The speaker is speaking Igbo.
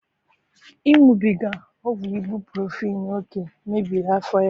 Iṅụbiga ọgwụ ibuprofen oke mmebiri afọ ya